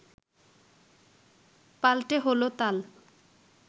পাল্টে হলো তাল